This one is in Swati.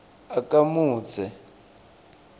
akamudze